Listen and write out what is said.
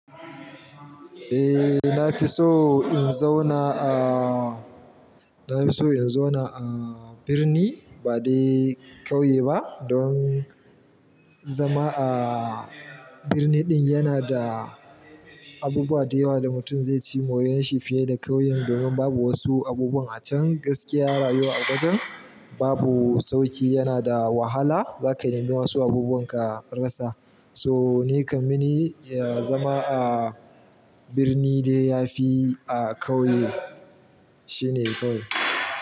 Eh, na fi so in zauna a, na fi so in zauna a birni ba dai kauye ba, don zama a birni din yana da abubuwa da yawa da mutum zai ci moriyan shi fiye da kauyen. Domin babu wasu abubuwan a can gaskiya rayuwa a wajan babu sauƙi, yana da wahala. Za ka nemi wasu abubuwan ka rasa. So ni kam mini ya zama a birni dai ya fi a kauye, shine kawai.